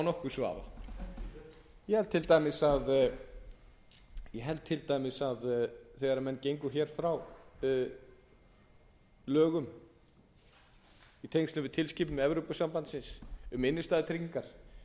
vafa þegar menn hafa unnið hluta of hratt ég held til dæmis að þegar menn gengu frá lögum í tengslum við tilskipun evrópusambandsins um innstæðutryggingar